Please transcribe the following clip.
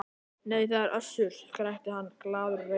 Nei, það er Össur, skrækti hann glaður og reifur.